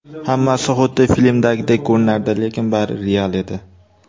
Hammasi xuddi filmdagidek ko‘rinardi, lekin bari real edi.